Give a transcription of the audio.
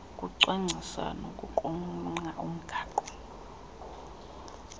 ukucwangcisa nokuqulunqa umgaqo